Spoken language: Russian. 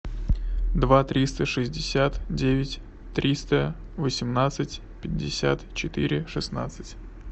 два триста шестьдесят девять триста восемнадцать пятьдесят четыре шестнадцать